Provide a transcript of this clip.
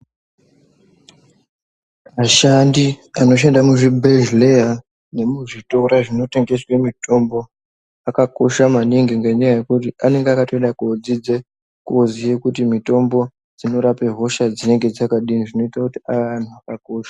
Ashandi anoshanda muzvibhedhlera nemuzvitora zvinotengese mitombo akakosha maningi ngenyaya yekuti anenge akatoda kudzidze kozoye kuti mitombo dzinorape hosha dzinengr dzakadini zvinoita kuti aye anhu akakosha.